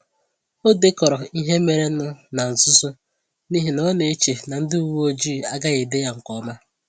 O dekọrọ ihe mere nụ ná nzuzo n’ihi na ọ na-eche na ndị uwe ojii agaghị ede ya nke ọma.